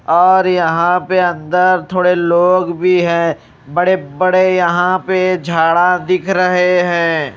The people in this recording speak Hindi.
और यहां पे अंदर थोड़े लोग भी हैं बड़े-बड़े यहां पे झाड़ा दिख रहे हैं।